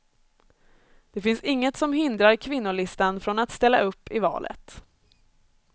Det finns inget som hindrar kvinnolistan från att ställa upp i valet.